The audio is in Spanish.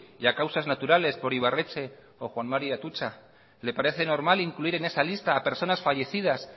y a causas naturales por ibarretxe o juan mari atutxa le parece normal incluir en esa lista a personas fallecidas